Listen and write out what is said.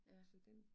Ja